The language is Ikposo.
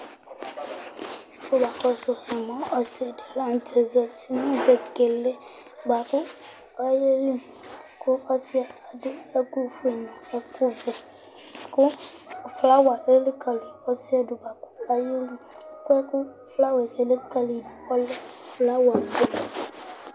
Ɔsi di la ntɛ zɛti nʋ vegele bʋakʋ ɔyeli kʋ ɔsi yɛ adu ɛku fʋe nʋ ɛku vɛ kʋ flower elikali ɔsi yɛ du bʋakʋ ɔyeli Flower kʋ elikali yi du ɔlɛ flower